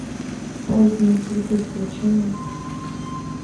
поздние цветы включи мне